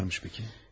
Neyim varmış bəki?